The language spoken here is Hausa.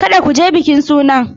Kada ku je bikin sunan!